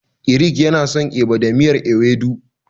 Eric yana son Eba da miyar Ewedu.